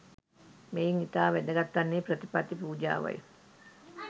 මෙයින් ඉතා වැදගත් වන්නේ ප්‍රතිපත්ති පූජාවයි.